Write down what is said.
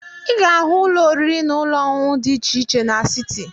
Ị ga-ahụ ụlọ oriri na ọṅụṅụ di iche iche n'siti.